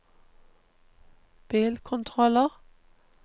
bilkontroller